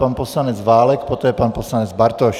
Pan poslanec Válek, poté pan poslanec Bartoš.